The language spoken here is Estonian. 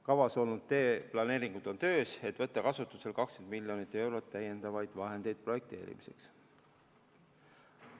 Kavas olnud teemaplaneeringud on töös, et võtta kasutusele 20 miljonit eurot täiendavaid vahendeid projekteerimiseks.